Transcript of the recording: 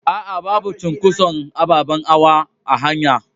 A'a, babu cunƙoson aɓaɓen hawa a hanya.